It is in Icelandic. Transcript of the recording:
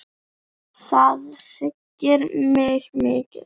Það hryggir mig mikið.